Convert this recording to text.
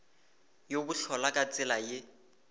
ya bohlola ka tsela ye